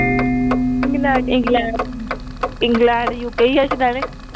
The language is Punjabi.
ਇੰਗ ਇੰਗਲੈਂਡ ਯੂ ਕੇ ਈ ਐ ਸ਼ੂਦਏਨੇ